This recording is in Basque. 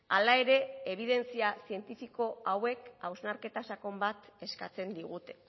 hala ere ebidentzia zientifiko hauek hausnarketa sakon bat eskatzen digute